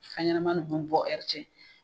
Fɛn ɲɛnama bɔ ɛri cɛ